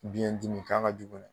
Biɲɛ dimi k'a ka jugu.